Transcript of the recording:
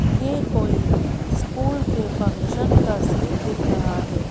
यह कोई स्कूल के फंक्शन का सीन दिख रहा है।